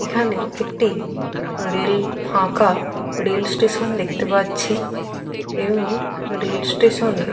এখানে একটি রেল ফাঁকা রেল স্টেশন দেখতে পাচ্ছি এবং রেল স্টেশন - এর --